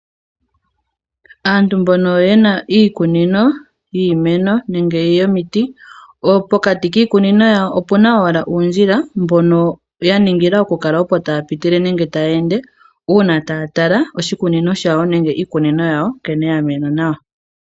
Aantu mbono yena iikunino yiimeno nenge yomiti, pokati kiikunino yawo opuna owala uundjila mbono ya ningila okukala opo taya pitile nenge taya ende ,uuna taya tala oshikunino shawo nenge iikunino yawo nkene ya mena nawa.